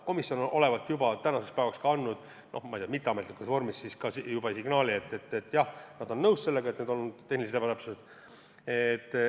Komisjon olevat juba tänaseks päevaks andud, noh, ma ei tea, mitteametlikus vormis signaali, et jah, nad on nõus sellega, et need on tehnilised ebatäpsused.